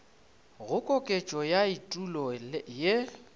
go koketšo ya etulo ye